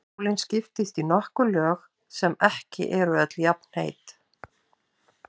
Sólin skiptist í nokkur lög sem ekki eru öll jafnheit.